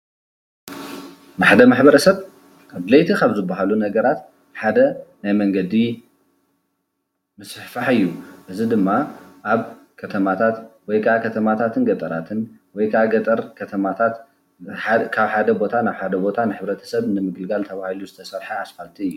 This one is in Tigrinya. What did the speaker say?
ንሓደ ማሕበረሰብ ኣድለይት ካብ ዝባሃሉ ነገራት ሓደ ናይ መንገዲ ምሰፍፋሕ እዩ። እዚ ድማ ኣብ ከተማታት ወይከዓ ከተማታትን ገጠራትን ወይከዓ ገጠረን ከተማታትን ካብ ሓደ ቦታ ናብ ሓደ ቦታ ንሕብተረሰብ ንምግልጋል ተባሂሉ ዝተሰርሐ ኣስፓልት እዩ።